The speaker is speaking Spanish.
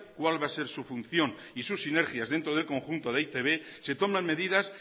cuál va a ser su función y sus sinergias dentro del conjunto de e i te be se toman medidas